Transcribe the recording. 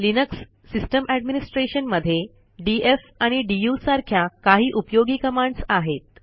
Linux system administration मध्ये DF आणि DU सारख्या काही उपयोगी कमांडस आहेत